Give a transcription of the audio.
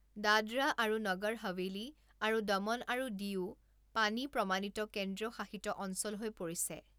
দাদৰা আৰু নগৰ হাৱেলি আৰু দমন আৰু দিউও পানী প্ৰমাণিত কেন্দ্ৰীয় শাসিত অঞ্চল হৈ পৰিছে।